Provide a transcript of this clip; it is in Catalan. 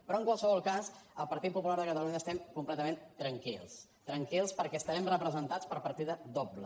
però en qualsevol cas al partit popular de catalunya estem completament tranquils tranquils perquè estarem representats per partida doble